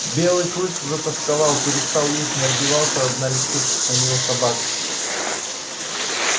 белый клык затосковал перестал есть не отбивался от налетавших на него собак